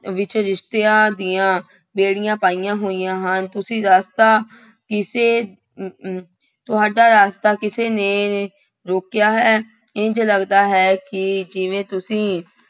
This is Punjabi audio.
ਵਿੱਚ ਰਿਸ਼ਤਿਆਂ ਦੀਆਂ ਬੇੜੀਆਂ ਪਾਈਆਂ ਹੋਈਆਂ ਹਨ ਤੁਸੀਂ ਰਸਤਾ ਕਿਸੇ ਤੁਹਾਡਾ ਰਾਸਤਾ ਕਿਸੇ ਨੇ ਰੋਕਿਆ ਹੈ, ਇੰਞ ਲੱਗਦਾ ਹੈ ਕਿ ਜਿਵੇਂ ਤੁਸੀਂ